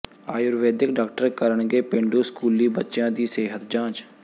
Ayurvedic doctor ਕਰਨਗੇ ਪੇਂਡੂ ਸਕੂਲੀ ਬੱਚਿਆਂ ਦੀ ਸਿਹਤ ਜਾਂਚ